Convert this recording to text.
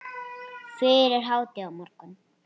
Fyrir hádegi á morgun.